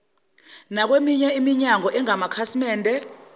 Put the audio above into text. nakweminye iminyango engamakhasimende